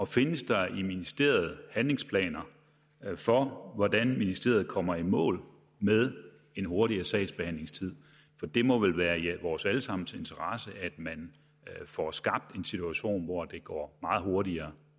findes der i ministeriet handlingsplaner for hvordan ministeriet kommer i mål med en hurtigere sagsbehandlingstid det må vel være i vores alle sammens interesse at man får skabt en situation hvor det går meget hurtigere